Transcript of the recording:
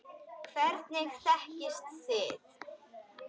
Hvernig þekkist þið?